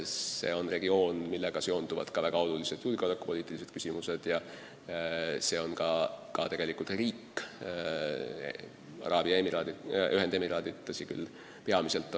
See on ka regioon, millega seonduvad väga olulised julgeolekupoliitilised küsimused, samuti on Araabia Ühendemiraadid turistidele tähtis riik.